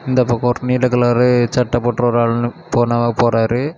இந்த பக்கம் ஒரு நீல கலரு சட்ட போட்ட ஒரு ஆளு போனா போறாரு.